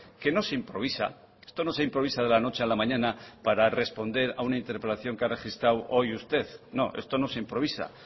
que no se improvisa esto no se improvisa de la noche a la mañana para responder a una interpelación que ha registrado hoy usted no esto no se improvisa